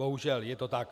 Bohužel je to tak.